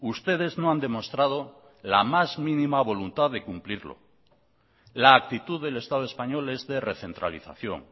ustedes no han demostrado la más mínima voluntad de cumplirlo la actitud del estado español es de recentralización